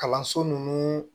Kalanso nunnu